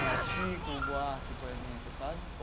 Mas Chico Buarque, por exemplo, sabe?